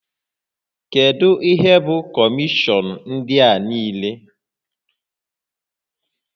Kedu ihe bụ kọmishọn ndị a niile?